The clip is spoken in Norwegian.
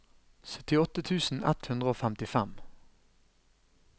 syttiåtte tusen ett hundre og femtifem